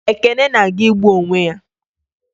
Ekene na-aga igbu onwe ya